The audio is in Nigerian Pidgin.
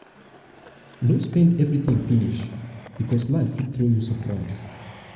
no spend everything no spend everything finish because life fit throw you surprise.